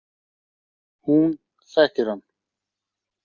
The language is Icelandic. Hún þekkir hann.